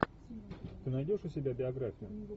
ты найдешь у себя биографию